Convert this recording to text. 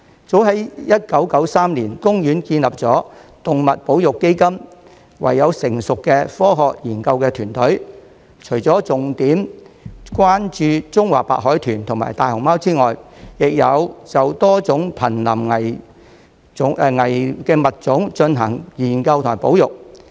早在1993年，公園建立了動物保育基金，擁有成熟的科學研究團隊，除了重點關注中華白海豚與大熊貓外，亦有就多種瀕危物種進行研究及保育。